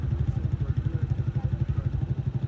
Sağ tərəfdən söhbət gedir.